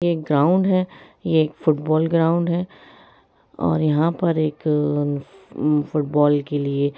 एक ग्राउंड है ये एक फुटबॉल ग्रांउड है और यहां पर एक फुटबॉल के लिए--